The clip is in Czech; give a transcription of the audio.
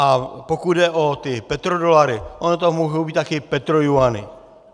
A pokud jde o ty petrodolary - ono to mohou být také petrojuany.